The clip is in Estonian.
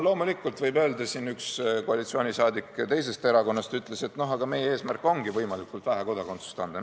Loomulikult, siin üks koalitsiooni liige teisest erakonnast ütles, et aga meie eesmärk ongi võimalikult vähe kodakondsust anda.